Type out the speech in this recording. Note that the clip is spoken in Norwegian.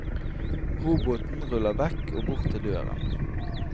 Roboten ruller vekk og bort til døren.